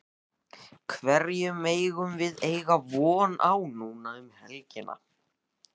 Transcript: Hverju megum við eiga von á núna um helgina?